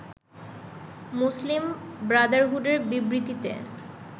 মুসলিম ব্রাদারহুডের বিবৃতিতে